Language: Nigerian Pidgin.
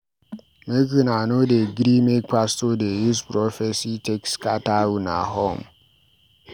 Make una no dey gree make pastor dey use prophesy take scatter una home